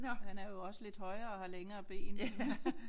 Han er jo også lidt højere og har længere ben